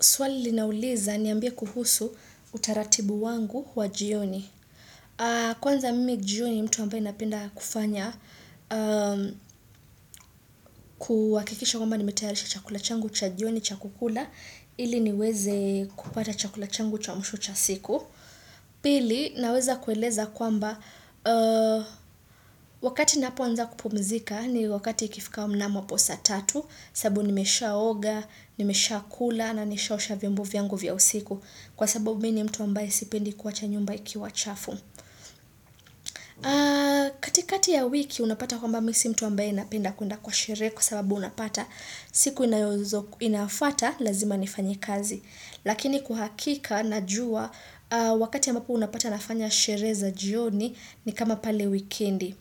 Swali linauliza niambia kuhusu utaratibu wangu wa jioni. Kwanza mimi jioni mtu ambae napenda kufanya kuhakikisha kwamba nimetayarisha chakula changu cha jioni cha kukula ili niweze kupata chakula changu cha mwisho cha siku. Pili naweza kueleza kwamba wakati napoanza kupumzika ni wakati ikifika wa mnamo hapo sa tatu sababu nimeshaoga, nimeshakula na nimeshaosha vimbo vyangu vya usiku. Kwa sababu mi nimtu ambaye sipendi kuwacha nyumba ikiwa chafu. Katikati ya wiki unapata kwamba mi si mtu ambaye napenda kuenda kwa sherehe kwa sababu unapata siku inayofuata lazima nifanyi kazi. Lakini kwahakika najua wakati ambapo unapata nafanya sherehe za jioni ni kama pale wikendi.